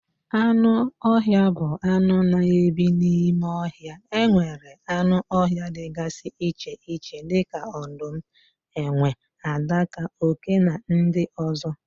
Anụ ọhịa bụ anụ na ebi n'ime ohia. Enwere anụ ọhịa dịgasị iche iche dịka odum, enwe, adaka, oké na ndị ozo